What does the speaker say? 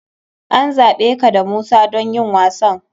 An zaɓe ka da Musa don yin wasan.